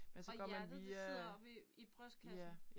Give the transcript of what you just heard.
Og hjertet det sidder oppe i i brystkassen